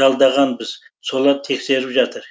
жалдағанбыз солар тексеріп жатыр